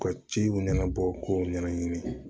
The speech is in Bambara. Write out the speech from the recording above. U ka ciw ɲɛnabɔ k'u ɲɛnaɲini